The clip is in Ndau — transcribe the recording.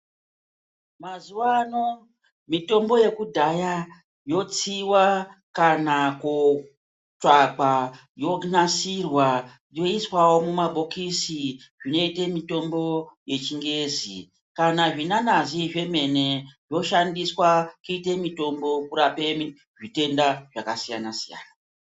Mazuwa ano mitombo yekudhaya yotsiwa, kana kootsvakwa yonasirwa, yoiswawo mumabhokisi zvinoite mitombo yechingezi. Kana zvinanazi zvemene zvoshandiswa kuite mitombo kurape mi zvitenda zvakasiyana-siyana.